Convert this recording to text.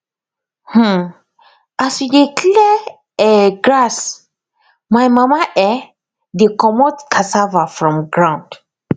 um as we dey clear um grass my mama um dey comot cassava from ground